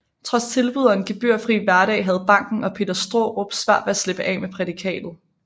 Trods tilbud og en gebyrfri hverdag havde banken og Peter Straarup svært ved at slippe af med prædikatet